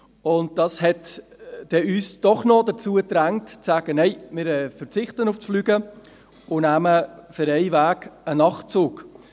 Das drängte uns doch noch dazu, zu sagen: «Nein, wir verzichten auf das Fliegen und nehmen für einen Weg einen Nachtzug.